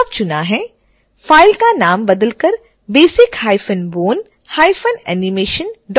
file का नाम बदलकर basic hyphen bone hyphen animation dot avi करें